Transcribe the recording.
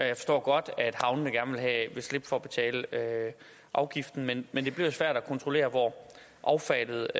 jeg forstår godt at havnene gerne vil slippe for at betale afgiften men men det bliver svært at kontrollere hvor affaldet